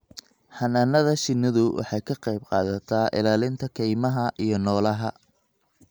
Xannaanada shinnidu waxay ka qayb qaadataa ilaalinta kaymaha iyo noolaha.